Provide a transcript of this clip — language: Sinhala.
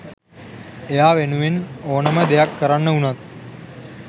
එයා වෙනුවෙන් ඕනෙම දෙයක් කරන්න වුනත්